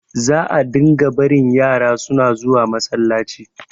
za a dinga barin yara suna zuwa masallacin